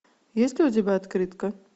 есть ли у тебя открытка